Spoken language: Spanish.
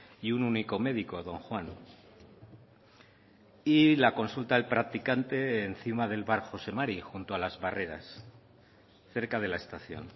y un único médico don juan y la consulta del practicante encima del bar jose mari junto a las barreras cerca de la estación